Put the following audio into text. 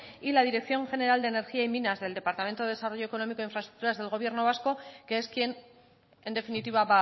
y la dirección general de energía y minas del departamento de desarrollo económico e infraestructuras del gobierno vasco que es quien en definitiva